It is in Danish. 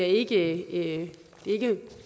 ikke